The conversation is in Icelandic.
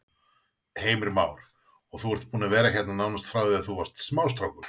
Heimir Már: Og þú ert búinn að vera hérna nánast frá því þú varst smástrákur?